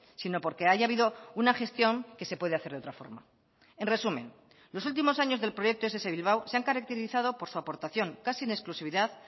sino porque haya habido una gestión que se puede hacer de otra forma en resumen los últimos años del proyecto ess bilbao se han caracterizado por su aportación casi en exclusividad